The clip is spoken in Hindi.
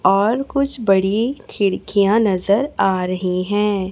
और कुछ बड़ी खिड़कियाँ नजर आ रही हैं।